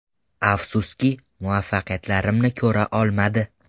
Afsuski, muvaffaqiyatlarimni ko‘ra olmadi.